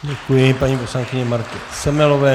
Děkuji paní poslankyni Martě Semelové.